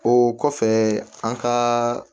O kɔfɛ an ka